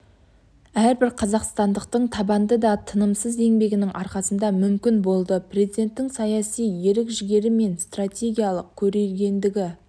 әрбір қазақстандықтың табанды да тынымсыз еңбегінің арқасында мүмкін болды президенттің саяси ерік-жігері және стратегиялық көрегендігі